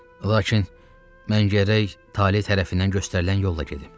Lakin mən gərək tale tərəfindən göstərilən yolla gedim.